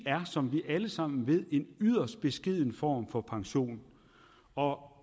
er som vi alle sammen ved en yderst beskeden form for pension og